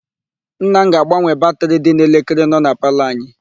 Nna m ga-agbanwe batịrị dị n'elekere nọ na palọ anyị.